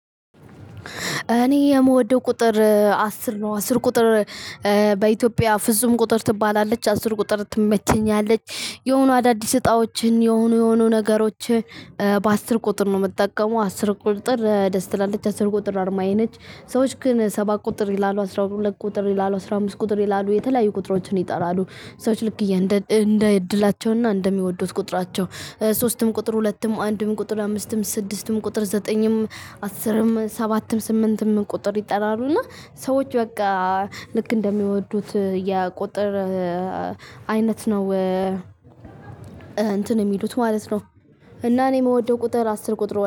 እኔ የምወደው ቁጥር አስር ነው አስር ቁጥር በኢትዮጵያ ፍጹም ቁጥር ትባላለች አስር ቁጥር ትመቸኛለች የሆኑ አዳዲስ እጣዎችን የሆኑ የሆኑ ነገሮችን በአስር ቁጥር ነው የምትጠቀመው አስር ቁጥር ደስ ትላለች አስር ቁጥር አርማዬ ነች። ሰዎች ግን ሰባት ቁጥር ይላሉ አስራ ሁለት ቁጥር ይላሉ አስራ አምስት ቁጥር ይላሉ የተለያዩ ቁጥሮችን ይጠራሉ። ሰዎች ልክ እንደ እድላቸውና እንደሚወዱት ቁጥራቸው ሶስትም ቁጥር ሁለትም አንድም ቁጥር አምስትም ስድስትም ቁጥር ዘጠኝም አስርም ሰባትም ስምንትም ቁጥር ይጠራሉ። እና ሰዎች በቃ ልክ እንደሚወዱት የቁጥር አይነት ነው። እንትን የሚሉት ማለት እና እኔ የምወደው ቁጥር አስር ቁጥር ወድ